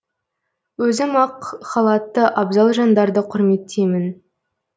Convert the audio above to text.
өзім ақ халатты абзал жандарды құрметтеймін